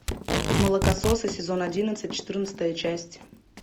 молокососы сезон одиннадцать четырнадцатая часть